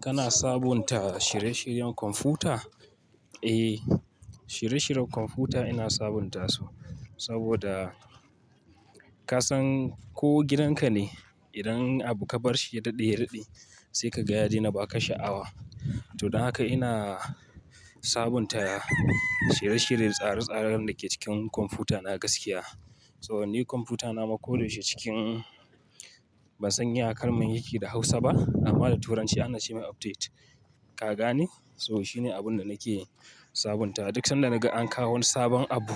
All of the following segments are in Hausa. Kana sabunta shirye-shiryen kwamfuta? Eh, shirye-shiryen kwamfuta ina sabunta su saboda ka san ko gidanka ne, idan abu ka bar shi ya daɗe ya daɗe sai ka ga ya daina ba ka sha'awa. To don haka ina sabunta shirye-shirye da tsare-tsaren da ke cikin kwamfutana gaskiya. So ni kwamfutana ma ko da yaushe cikin ban san ya karamin yake da Hausa ba amma da Turanci ana ce mai update. Kaga ne? So shine abin da nake sabunta. Duk sanda naga an kawo wani sabon abu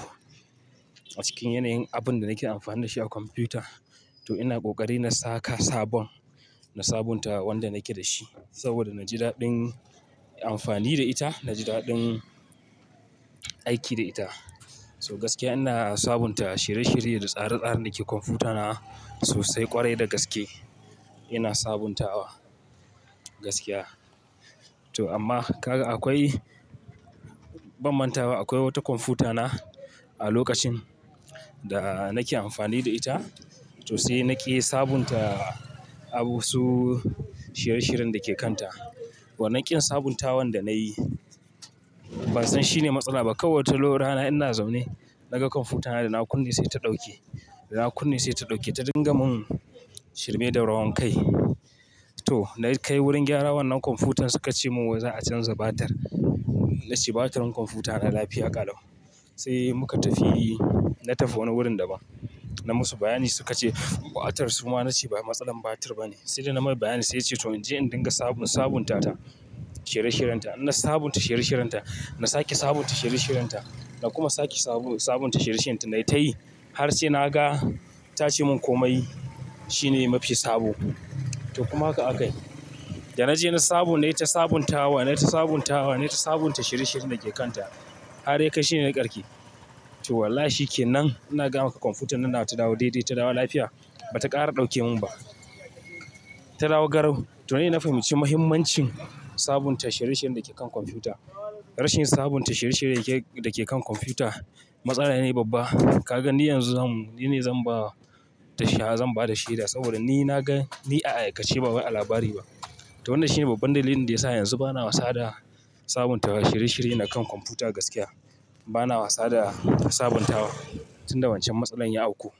a cikin yanayin abun da nake amfani da shi a kwamfuta, to ina ƙoƙari na saka sabon, na sabunta wanda nake da shi saboda naji daɗin amfani da ita, naji daɗin aiki da ita. So gaskiya ina sabunta shirye-shirye da tsare-tsare da ke kwamfutana sosai ƙwarai da gaske ina sabuntawa gaskiya. To amma kaga akwai bam manta ba, akwai wata kwamfutana a lokacin da nake amfani da ita, to sai nake sabunta abu su shirye-shiryen da ke kanta. Wannan ƙin sabuntawan da nayi ban san shine matsala ba. Kowacce lokara ina zaune naga kwamfutana da na kunne sai ta ɗauke, da na kunne sai ta ɗauke. Ta dinga mun shirme da rawan kai. To na kai wurin gyara wannan kwamfutar suka ce mun za a canza batar. Na ce batar kwamfutana lafiya ƙalau. Sai muka tafi, na tafi wani wurin da ba, na musu bayani suka ce batar. Su ma na ce bai matsalar batar ba ne. Sai da na marar bayani sai ya ce to in je in dinga sabo sabunta ta shirye-shiryenta. Na sabunta shirye-shiryenta, na sake sabunta shirye-shiryenta, na kuma sake sabo sabunta shirye-shiryenta na tayi har sai naga ta ci mun komai shine mafi sabo. To kuma haka aka yi. Da naje na sabo nayi ta sabuntawa, nayi ta sabuntawa, nayi ta sabunta shirye-shiryen da ke kanta. Haryakai shine na karke. To wallahi kenan ina gama kwamfutana na ta dawo daidai ta dawo lafiya. Ba ta ƙara ɗauke mun ba. Ta dawo garau. To dai na fahimci muhimmancin sabunta shirye-shiryen da ke kan kwamfuta. Rashin sabunta shirye-shirye yake da ke kan kwamfuta matsala ne babba. Kaga ni yanzu zan, ni ne zan ba da shawara, zan ba da shaida saboda ni na ga, ni a aikace ba ba a labari ba. To wannan shine babban dalilin da ya sa yanzu bana wasa da sabuntawa shirye-shirye na kan kwamfuta gaskiya. Bana wasa da sabuntawa tun da wancan matsalar ya auku.